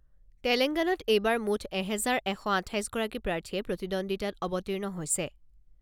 তেলেংগনাত এইবাৰ মুঠ এহেজাৰ এশ আঠাইছ গাৰকী প্ৰাৰ্থীয়ে প্ৰতিদ্বন্দ্বিতাত অৱতীৰ্ণ হৈছে।